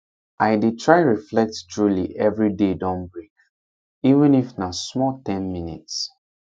i dey try reflect truly every day don break even if na small ten minutes